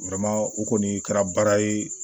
o kɔni kɛra baara ye